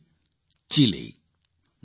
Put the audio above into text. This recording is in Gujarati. જેનું નામ છે ચીલી